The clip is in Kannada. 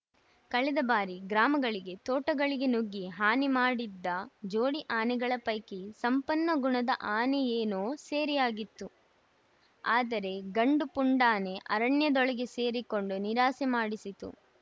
ಕಳೆದ ಬಾರಿ ಗ್ರಾಮಗಳಿಗೆ ತೋಟಗಳಿಗೆ ನುಗ್ಗಿ ಹಾನಿ ಮಾಡಿದ್ದ ಜೋಡಿ ಆನೆಗಳ ಪೈಕಿ ಸಂಪನ್ನ ಗುಣದ ಆನೆಯೇನೋ ಸೆರೆಯಾಗಿತ್ತು ಆದರೆ ಗಂಡು ಪುಂಡಾನೆ ಅರಣ್ಯದೊಳಗೆ ಸೇರಿಕೊಂಡು ನಿರಾಸೆ ಮೂಡಿಸಿತ್ತು